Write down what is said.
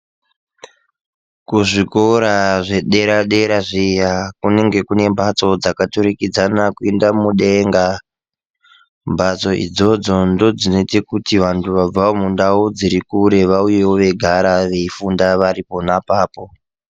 Kuzvikora zvedera-dera zviya, kunenge kune mbatso dzakaturikidzana kuenda mudenga. Mbatso idzodzo ndodzinoite kuti vantu vabvawo mundau dziri kure vauyewo veigara veifunda vari pona ipapo.